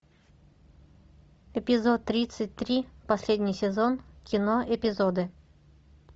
эпизод тридцать три последний сезон кино эпизоды